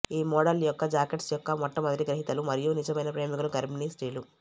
ఈ మోడల్ యొక్క జాకెట్స్ యొక్క మొట్టమొదటి గ్రహీతలు మరియు నిజమైన ప్రేమికులు గర్భిణీ స్త్రీలు